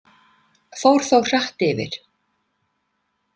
Fór þó hratt yfir.